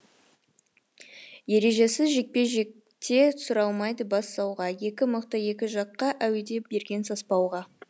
ережесіз жекпе жекте сұралмайды бас сауға екі мықты екі жаққа әуеде берген саспауға